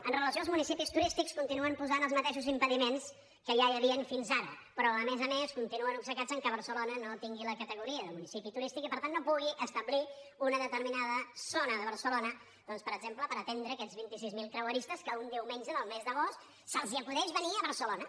amb relació als municipis turístics continuen posant els mateixos impediments que ja hi havia fins ara però a més a més continuen obcecats que barcelona no tingui la categoria de municipi turístic i per tant no pu gui establir una determinada zona de barcelona doncs per exemple per atendre aquests vint sis mil creueristes que un diumenge del mes d’agost se’ls acudeix venir a barcelona